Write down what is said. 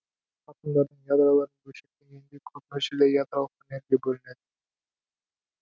атомдардың ядроларын бөлшектегенде көп мөлшерде ядролық энергия бөлінеді